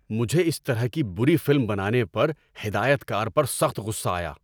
مجھے اس طرح کی بری فلم بنانے پر ہدایت کار پر سخت غصہ آیا۔